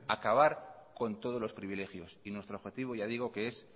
acabar con todos los privilegios y nuestro objetivo ya digo que es